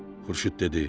Xurşud dedi: